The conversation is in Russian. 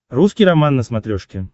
русский роман на смотрешке